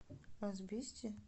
асбесте